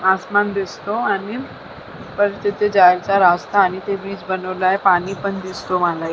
आसमान दिसतो आणि परत जायचा रास्ता आणि ते वीज बनवलंय पाणी पण दिसतो मला.